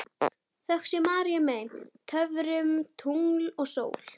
Þökk sé Maríu mey, töfrum, tungli og sól.